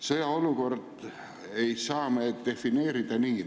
Sõjaolukorda ei saa me nii defineerida.